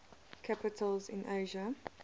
capitals in asia